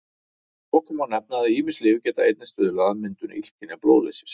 Að lokum má nefna að ýmis lyf geta einnig stuðlað að myndun illkynja blóðleysis.